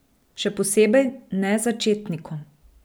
Še posebej ne začetnikom.